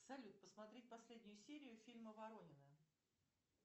салют посмотреть последнюю серию фильма воронины